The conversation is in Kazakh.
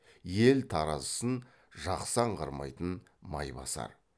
ел таразысын жақсы аңғармайтын майбасар